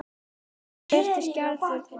Allt í einu birtist Gerður.